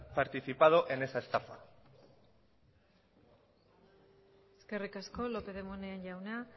participado en esa estafa eskerrik asko lópez de munain jauna